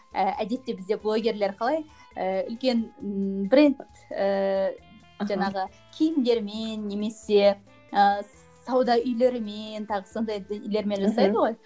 әдетті бізде блогерлер қалай ііі үлкен бренд ііі жаңағы киімдерімен немесе ііі сауда үйлерімен тағы сондай нелермен жасайды ғой